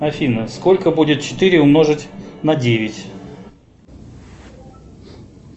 афина сколько будет четыре умножить на девять